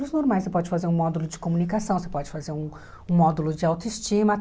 normais. Você pode fazer um módulo de comunicação, você pode fazer um um módulo de autoestima.